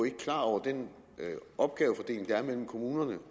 ikke klar over den opgavefordeling der er mellem kommunerne